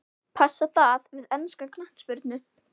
Passar það við enska knattspyrnu?